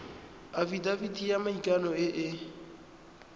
afitafiti ya maikano e e